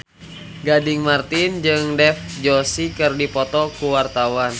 Gading Marten jeung Dev Joshi keur dipoto ku wartawan